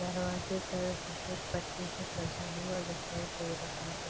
दरवाजे पर सफ़ेद पट्टी से सजा हुआ दिखाई दे रहा है।